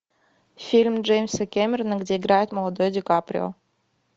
фильм джеймса кэмерона где играет молодой ди каприо